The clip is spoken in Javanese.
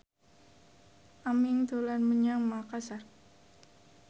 Aming dolan menyang Makasar